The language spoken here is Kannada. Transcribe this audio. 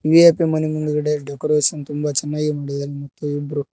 ವಿ_ಐ_ಪೀ ಮನೆ ಮುಂದ್ಗಡೆ ಡೆಕೋರೇಷನ್ ತುಂಬ ಚನ್ನಾಗಿ ಮಾಡಿದಾರೆ ಮತ್ತು ಇಬ್ರೂ--